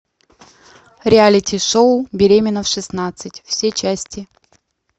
реалити шоу беременна в шестнадцать все части